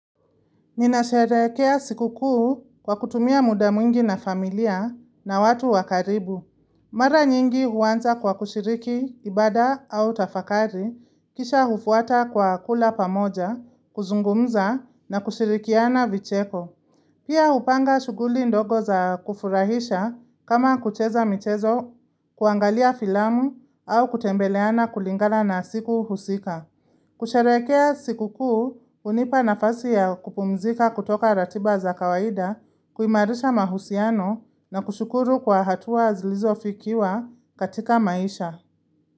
Ninasherekea siku kuu kwa kutumia muda mwingi na familia na watu wakaribu. Mara nyingi uwanza kwa kushiriki, ibada au tafakari, kisha hufuata kwa kula pamoja, kuzungumza na kushirikiana vicheko. Pia hupanga shuguli ndogo za kufurahisha kama kucheza mchezo, kuangalia filamu au kutembeleana kulingala na siku husika. Kusharekea sikuku unipa nafasi ya kupumzika kutoka ratiba za kawaida, kuimarisha mahusiano na kushukuru kwa hatuwa zilizofikiwa katika maisha.